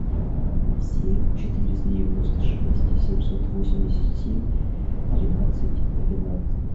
семь четыреста девяносто шесть семьсот восемьдесят семь тринадцать двенадцать